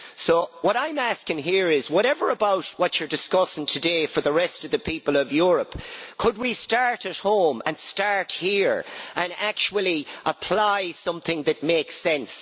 So what I am asking here is whatever you are discussing today for the rest of the people of Europe, could we start at home, start here, and actually apply something that makes sense?